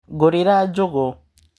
Ngũrĩra njũgũ.